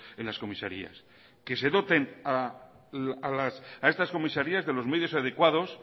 en las comisarias que se doten a estas comisarias de los medios adecuados